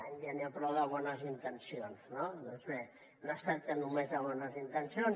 ja n’hi ha prou de bones intencions no doncs bé no es tracta només de bones intencions